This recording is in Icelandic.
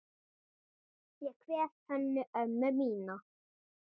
Ég kveð Hönnu ömmu mína.